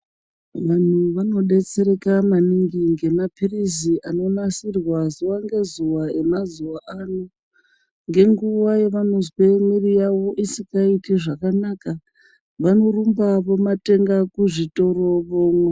Vantu vanodetsereka maningi ngemapirizi anonasirwa zuwa ngezuwa emazuwa ano ngenguwa yavanozwe mwiri yawo isingaiti zvakakaka vanorumba vomatenga kuzvitoro vomwa.